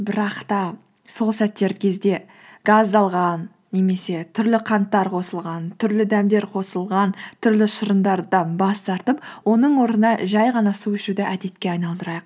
бірақ та сол сәттер кезде газдалған немесе түрлі қанттар қосылған түрлі дәмдер қосылған түрлі шырындардан бас тартып оның орнына жай ғана су ішуді әдетке айналдырайық